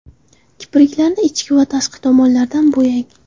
Kipriklarni ichki va tashqi tomonlardan bo‘yang.